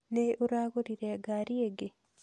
Nĩ ũragũrire ngari ĩngĩ?